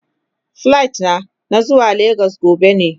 Plit na, na zuwa lagos gobe ne.